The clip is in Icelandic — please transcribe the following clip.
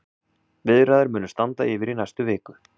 Viðræður munu standa yfir í næstu viku.